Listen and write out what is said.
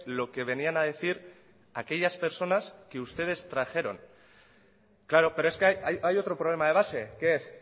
lo que venían a decir aquellas personas que ustedes trajeron claro pero es que hay otro problema de base que es